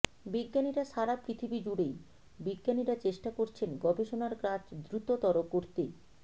বিজ্ঞানীরা সারা পৃথিবীজুড়েই বিজ্ঞানীরা চেষ্টা করছেন গবেষণার কাজ দ্রুততর করতে